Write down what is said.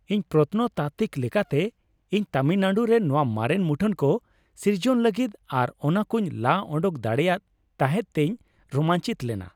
ᱢᱤᱫ ᱯᱨᱚᱛᱱᱚᱛᱟᱛᱛᱤᱠ ᱞᱮᱠᱟᱛᱮ, ᱤᱧ ᱛᱟᱢᱤᱞᱱᱟᱲᱩ ᱨᱮ ᱱᱚᱶᱟ ᱢᱟᱨᱮᱱ ᱢᱩᱴᱷᱟᱹᱱ ᱠᱚ ᱥᱤᱨᱡᱚᱱ ᱞᱟᱹᱜᱤᱫ ᱟᱨ ᱚᱱᱟ ᱠᱚᱧ ᱞᱟ ᱚᱰᱳᱠ ᱫᱟᱲᱮᱭᱟᱫ ᱛᱟᱦᱮᱫ ᱛᱮᱧ ᱨᱳᱢᱟᱧᱪᱤᱛᱚ ᱞᱮᱱᱟ ᱾